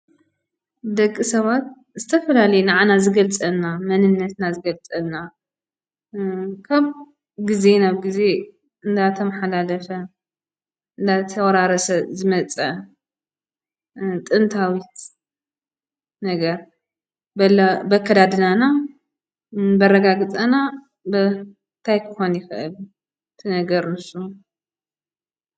ደቂ ሰባት ዝተፈላለየ ንዓና ዝገልፀና መንነትና ዝገልፀልና ከም ግዜ ናብ ግዜ እናተመሓላለፈ እናተወራረሰ ዝመፀ ጥንታዊት ነገር ብኣለ ብኣከዳድናና ፣ ብኣረጋግፃና ብ እንታይ ክኾን ይኽእል እቲ ነገር ንሱ?